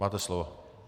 Máte slovo.